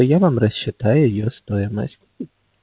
и я вам рассчитаю её стоимость